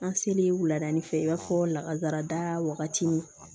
An selen wulada fɛ i b'a fɔ lakazarada wagati min